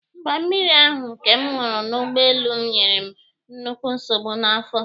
Mba, mmiri ahụ nke m ṅụrụ n'ụgbọelu nyere m nnukwu nsogbu n'afọ